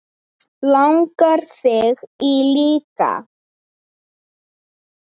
Langar þig í líka?